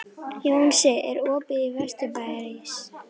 Jónsi, er opið í Vesturbæjarís?